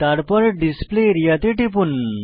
তারপর display area তে টিপুন